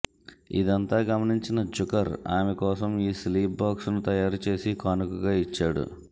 ఇదంతా గమనించిన జుకర్ ఆమె కోసం ఈ స్లీప్ బాక్స్ను తయారు చేసి కానుకగా ఇచ్చాడు